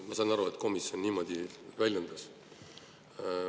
Ma saan aru, et komisjon niimoodi väljendus.